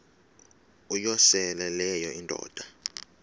uyosele leyo indoda